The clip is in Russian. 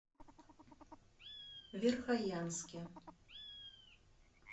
верхоянске